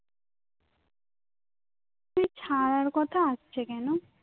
তুই ছাড়ার কথা আসছে কেন